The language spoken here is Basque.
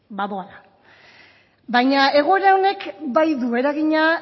baina egoera honek bai du eragina